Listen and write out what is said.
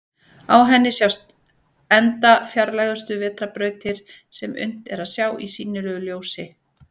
Á henni sjást enda fjarlægustu vetrarbrautir sem unnt er að sjá í sýnilegu ljósi.